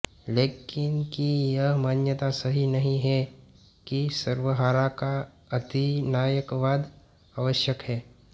Lenin की यह मान्यता सही नहीं है कि सर्वहारा का अधिनायकवाद आवश्यक है